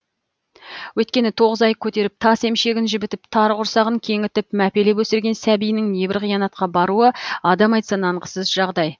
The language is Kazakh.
өйткені тоғыз ай көтеріп тас емшегін жібітіп тар құрсағын кеңітіп мәпелеп өсірген сәбиінің небір қиянатқа баруы адам айтса нанғысыз жағдай